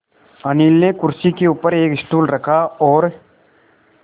अनिल ने कुर्सी के ऊपर एक स्टूल रखा और